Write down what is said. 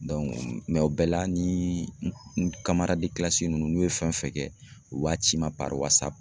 o bɛɛ la ni n ninnu n'u ye fɛn fɛn kɛ u b'a ci n ma